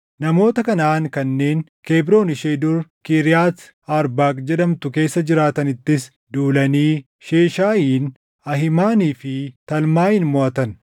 Namoota Kanaʼaan kanneen Kebroon ishee dur Kiriyaati Arbaaq jedhamtu keessa jiraatanittis duulanii Sheeshaayiin, Ahiimanii fi Talmaayin moʼatan.